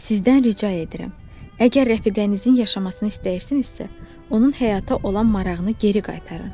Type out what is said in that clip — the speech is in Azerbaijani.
Sizdən rica edirəm, əgər rəfiqənizin yaşamasını istəyirsinizsə, onun həyata olan marağını geri qaytarın.